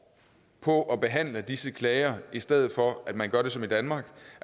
på at behandle disse klager i stedet for at man gør som i danmark